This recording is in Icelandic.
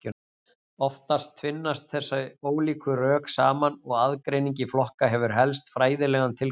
Oftast tvinnast þessi ólíku rök saman og aðgreining í flokka hefur helst fræðilegan tilgang.